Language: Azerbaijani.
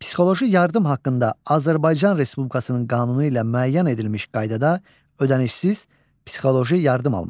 Psixoloji yardım haqqında Azərbaycan Respublikasının qanunu ilə müəyyən edilmiş qaydada ödənişsiz psixoloji yardım almaq.